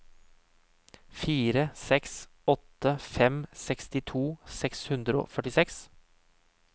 fire seks åtte fem sekstito seks hundre og førtiseks